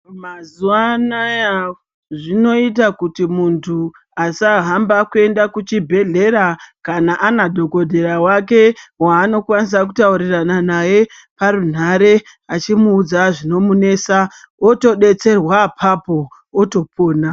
Mazuwa anaya zvinoita kuti muntu asahamba kuenda kuchibhehlera kana ana dhokodhera wake waanokwanisa kutaurirana naye parunhare achimuudza zvinomunesa otobetserwa apapo otopona.